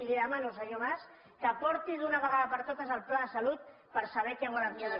i li dema no senyor mas que porti d’una vegada per totes el pla de salut per saber què volen fer